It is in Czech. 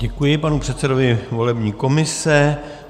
Děkuji panu předsedovi volební komise.